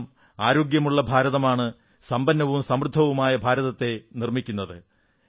കാരണം ആരോഗ്യമുള്ള ഭാരതമാണ് സമ്പന്നവും സമൃദ്ധവുമായ ഭാരതത്തെ നിർമ്മിക്കുന്നത്